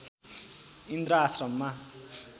इन्द्र आश्रममा